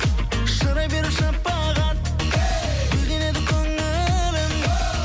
шырай беріп шапағат гүлденеді көңілім